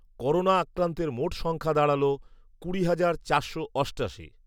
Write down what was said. corona আক্রান্তের মোট সংখ্যা দাঁড়ালো কুড়ি হাজার চারশো অষ্টাশি